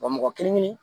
Wa mɔgɔ kelen kelen